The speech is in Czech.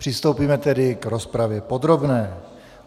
Přistoupíme tedy k rozpravě podrobné.